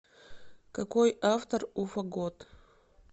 какой автор у фагот